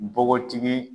Npogotigi